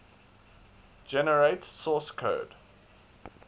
generate source code